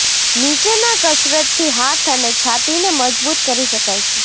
નીચેના કસરતથી હાથ અને છાતીને મજબૂત કરી શકાય છે